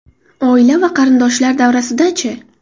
Oila va qarindoshlar davrasida-chi?